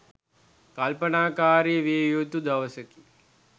කල්පනාකාරී විය යුතු දවසකි.